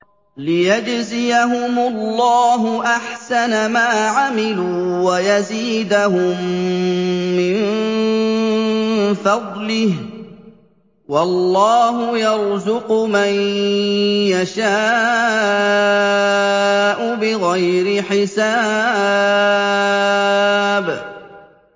لِيَجْزِيَهُمُ اللَّهُ أَحْسَنَ مَا عَمِلُوا وَيَزِيدَهُم مِّن فَضْلِهِ ۗ وَاللَّهُ يَرْزُقُ مَن يَشَاءُ بِغَيْرِ حِسَابٍ